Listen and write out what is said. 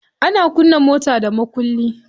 Ana kunna mota da mukulli.